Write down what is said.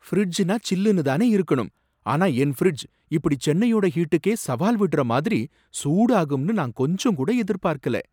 ஃபிரிட்ஜ்னா சில்லுனு தானே இருக்கணும், ஆனா என் ஃபிரிட்ஜ் இப்படி சென்னையோட ஹீட்டுக்கே சவால் விடற மாதிரி சூடாகும்னு நான் கொஞ்சங்கூட எதிர்பார்க்கல.